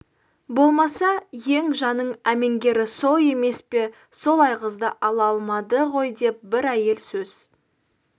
болмаса ең жаңын әмеңгері сол емес пе сол айғызды ала алмады ғой деп бір әйел сөз